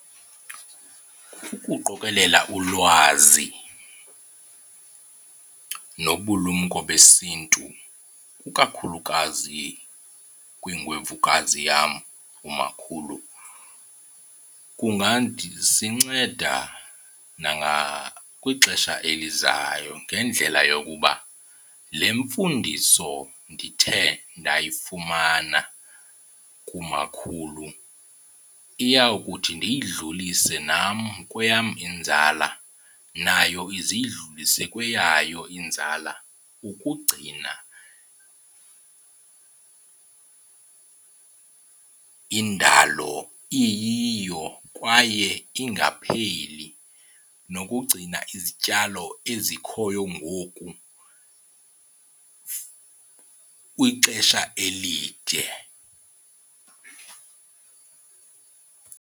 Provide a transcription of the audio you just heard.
Ukuqokelela ulwazi nobulumko besiNtu ukakhulukazi kwingwevukazi yam umakhulu nangakwixesha elizayo ngendlela yokuba le mfundiso ndithe ndayifumana kumakhulu iyawukuthi ndiyidlulise nam kweyam inzala nayo ize iyidlulise kweyayo inzala ukugcina indalo iyiyo kwaye ingapheli, nokugcina izityalo ezikhoyo ngoku kwixesha elide.